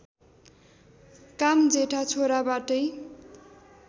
काम जेठा छोराबाटै